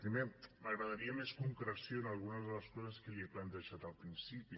primer m’agradaria més concreció en algunes de les coses que li he plantejat al principi